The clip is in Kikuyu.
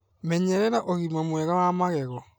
Menyerera ũgima mwega wa magego